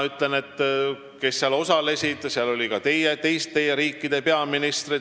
Seal osalesid ka teiste riikide peaministrid.